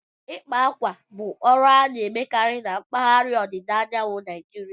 Ịkpa akwa bụ ọrụ a na-emekarị na mpaghara ọdịda anyanwụ Naijiria